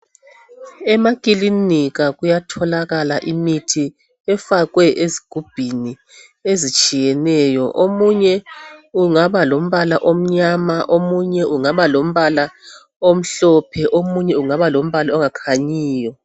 Emakilinika kuyatholakala imithi efakwe ezigubhini ezitshiyeneyo kungaba lombala omnyama omunye ungaba lombala omhlophe omunye ungaba lombala ongakhanyiyo.